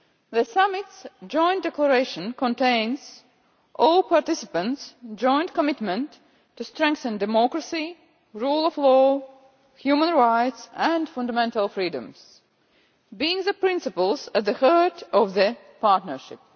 The summit's joint declaration contains all the participants' joint commitment to strengthen democracy, the rule of law, human rights and fundamental freedoms, which are the principles at the heart of their partnership.